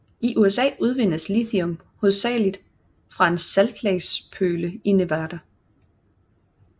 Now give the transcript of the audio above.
I USA udvindes lithium hovedsageligt fra saltlagspøle i Nevada